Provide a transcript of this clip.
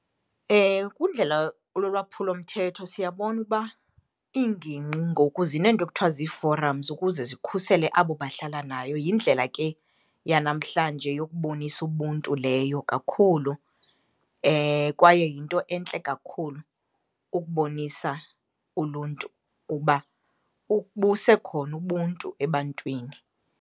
Kundlela lolwaphulo mthetho siyabona uba iingingqi ngoku zineento ekuthiwa zii-forums ukuze zikhusele abo bahlala nayo. Yindlela ke yanamhlanje yokubonisa ubuntu leyo kakhulu kwaye yinto entle kakhulu ukubonisa uluntu ukuba busekhona ubuntu ebantwini.